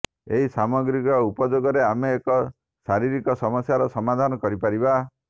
ଏହି ସାମଗ୍ରୀର ଉପଯୋଗରେ ଆମେ ଏକ ଶାରୀରିକ ସମସ୍ୟାର ସମାଧାନ କରିପାରିବା